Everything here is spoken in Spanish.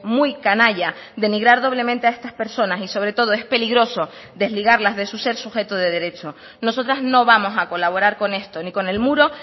muy canalla denigrar doblemente a estas personas y sobre todo es peligroso desligarlas de su ser sujeto de derecho nosotras no vamos a colaborar con esto ni con el muro